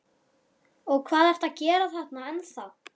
Og hvað ertu að gera þarna ennþá?